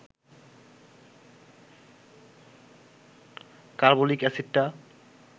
carbolic অ্যাসিডটা